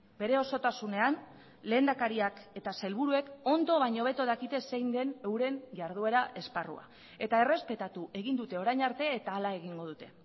bere osotasunean lehendakariak eta sailburuek ondo baino hobeto dakite zein den euren jarduera esparrua eta errespetatu egin dute orain arte eta hala egingo dute